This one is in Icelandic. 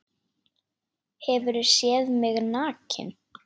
Hefurðu séð mig nakinn?